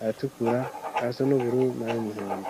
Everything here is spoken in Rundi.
ayatukura, ayasa n'ubururu n'ay'umuhondo.